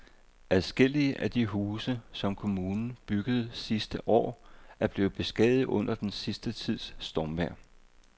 Adskillige af de huse, som kommunen byggede sidste år, er blevet beskadiget under den sidste tids stormvejr.